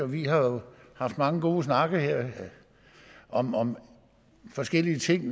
vi jo haft mange gode snakke om om forskellige ting